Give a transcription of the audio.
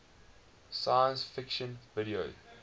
science fiction video